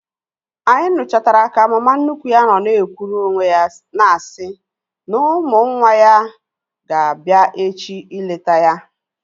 Anyị nuchatara ka mama nnukwu ya nọ na-ekwuru onwe ya na-asị na ụmụ nwa ya na-abịa echi ileta ya